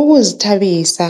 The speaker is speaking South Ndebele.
Ukuzithabisa